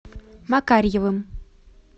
макарьевым